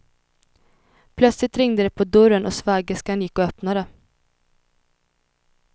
Plötsligt ringde det på dörren och svägerskan gick och öppnade.